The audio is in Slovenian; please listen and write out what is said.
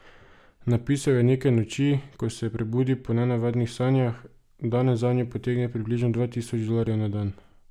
Napisal jo je neke noči, ko se je prebudil po nenavadnih sanjah, danes zanjo potegne približno dva tisoč dolarjev na dan.